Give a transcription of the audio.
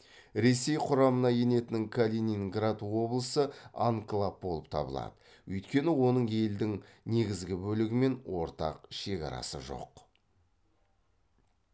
ресей құрамына енетін калининград облысы анклав болып табылады өйткені оның елдің негізгі бөлігі мен ортақ шекарасы жоқ